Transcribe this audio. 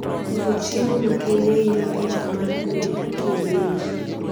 Koso chiemo makende hinyo pitho mar gwen kienyeji